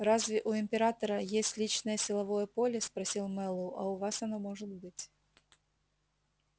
разве у императора есть личное силовое поле спросил мэллоу а у вас оно может быть